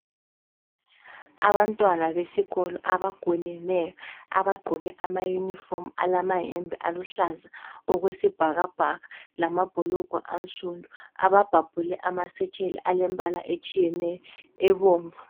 Abantwana besikolo abagoneneyo abagqoke ama unifomu alamayembe aluhlaza okwe sibhakabhaka lamabhulugwe ansundu ababhabhule amasetsheli alembala etshiyeneyo ebomvu.